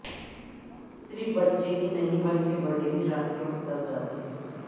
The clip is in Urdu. صرف بچے ہی نہیں بلکہ بڑے بھی رات کے وقت ڈر جاتے ہیں